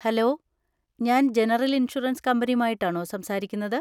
Hello, ഞാൻ general insurance കമ്പനിയുമായിട്ടാണോ സംസാരിക്കുന്നത്?